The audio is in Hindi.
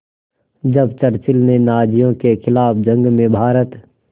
जब चर्चिल ने नाज़ियों के ख़िलाफ़ जंग में भारत